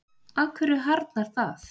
af hverju harðnar það